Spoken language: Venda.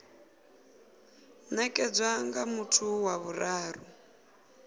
nekedzwa nga muthu wa vhuraru